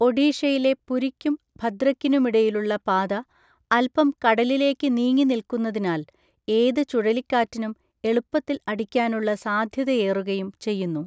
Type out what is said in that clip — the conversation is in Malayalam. ഒഡീഷയിലെ പുരിയ്ക്കും ഭദ്രക്കിനുമിടയിലുള്ള പാത അല്പം കടലിലേക്ക് നീങ്ങിനില്കുന്നതിനാൽ ഏത് ചുഴലിക്കാറ്റിനും എളുപ്പത്തിൽ അടിക്കാനുള്ള സാധ്യതയേറുകയും ചെയ്യുന്നു.